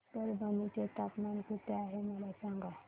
आज परभणी चे तापमान किती आहे मला सांगा